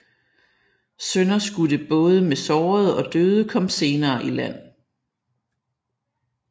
Sønderskudte både med sårede og døde kom senere i land